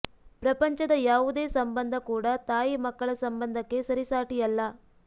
ಪ್ರಪಂಚದ ಯಾವುದೇ ಸಂಬಂಧ ಕೂಡಾ ತಾಯಿ ಮಕ್ಕಳ ಸಂಬಂಧಕ್ಕೆ ಸರಿ ಸಾಟಿಯಲ್ಲ